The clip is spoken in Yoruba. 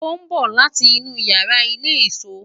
o n bo lati inu iyara ile-iso